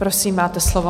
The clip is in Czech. Prosím, máte slovo.